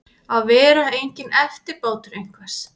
Að vera enginn eftirbátur einhvers